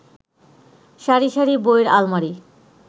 সারি সারি বইয়ের আলমারি